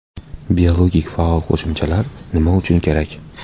Biologik faol qo‘shimchalar nima uchun kerak?